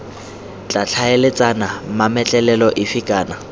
tla tlhaeletsana mametlelelo efe kana